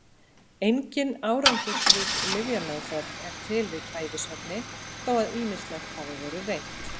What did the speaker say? Engin árangursrík lyfjameðferð er til við kæfisvefni þó að ýmislegt hafi verið reynt.